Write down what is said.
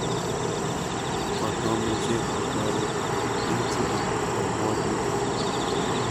Kotomoche kotoret ichigil kobwotutik